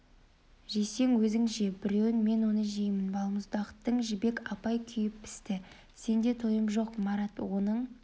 жесең өзің же біреуін мен онын жеймін балмұздақтың жібек апай күйіп-пісті сенде тойым жоқ марат онын